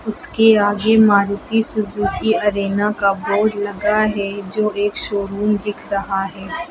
उसके आगे Maruti Suzuki Arena का बोर्ड लगा है जो एक शोरूम दिख रहा है।